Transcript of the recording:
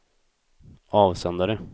avsändare